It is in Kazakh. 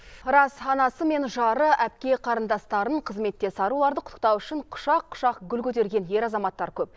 рас анасы мен жары әпке қарындастарын қызметтес аруларды құттықтау үшін құшақ құшақ гүл көтерген ер азаматтар көп